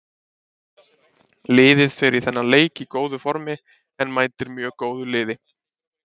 Liðið fer í þennan leik í góðu formi en mætir mjög góðu liði.